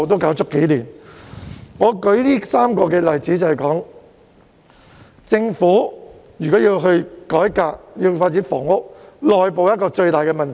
我之所以舉出這3個例子，是要說明政府如果要改革，要發展房屋，內部協調是一大問題。